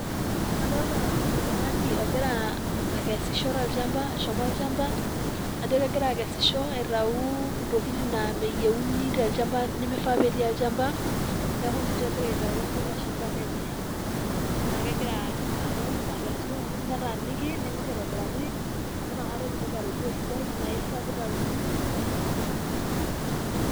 adolta oltungani ogira akesisho tolchamba eshomo olchamba ajo kegira akesisho aitau ntokitin naa meyieuni tolchamba nimifaa petii olchamba, niaku ninche egira aitau teilo shamba lenye. niaku kegira aton akesu netaaniki ningor aitobiraki amu inakata etumoki atodua sidai naifaa pitayuni onimifaa .